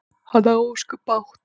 Hann á ósköp bágt.